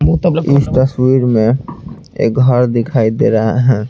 इस तस्वीर में एक घर दिखाई दे रहा है।